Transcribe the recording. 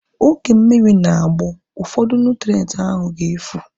Oge mmiri na-agbọ, ụfọdụ nụtrenti ahu ga-efu